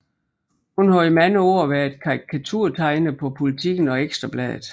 Hun har i mange år været karikaturtegner på Politiken og Ekstra Bladet